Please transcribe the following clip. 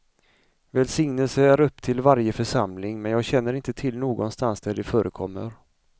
Välsignelse är upp till varje församling men jag känner inte till någonstans där det förekommer.